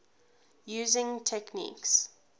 using techniques